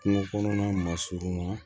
Kungo kɔnɔna masurunna